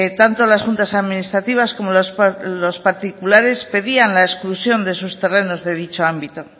tanto las juntas administrativas como los particulares pedían la exclusión de esos terrenos de dicho ámbito